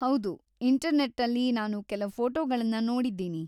ಹೌದು, ಇಂಟರ್ನೆಟ್ಟಲ್ಲಿ ನಾನು ಕೆಲ ಫೋಟೊಗಳನ್ನ ನೋಡಿದ್ದೀನಿ.